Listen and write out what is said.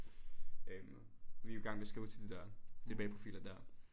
Øhm vi jo i gang med skrive til de dér DBA profiler dér